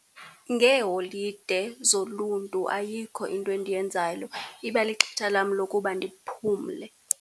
Ngeeholide zoluntu ayikho into endiyenzayo, iba lixetsha lam lokuba ndiphumle.